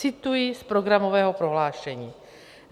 Cituji z programového prohlášení: